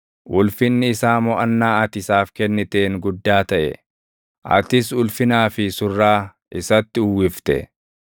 Ulfinni isaa moʼannaa ati isaaf kenniteen guddaa taʼe; atis ulfinaa fi surraa isatti uwwifte.